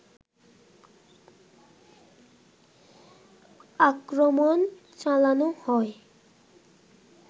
আক্রমণ চালানো হয়